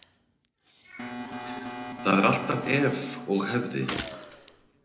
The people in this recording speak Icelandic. Það er alltaf ef og hefði.